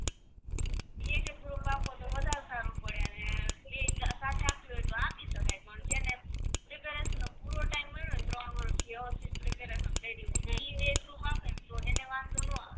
એક એક કરીને આપો તો વધારે સારું પડે અને એકી સાથે આપવી હોય તો આપી શકાય પણ છે ને reservation નો પૂરો time મળ્યો હોય ત્રણ વરસ તો અને વાંધો નો આવે